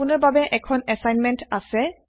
আপুনাৰ বাবে এখন এছাইনমেণ্ট আছে